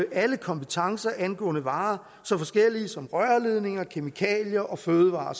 alle kompetencer angående varer så forskellige som rørledninger kemikalier fødevarer